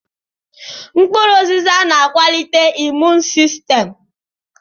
Mkpụrụ ụzịza na-akwalite imuun sistem.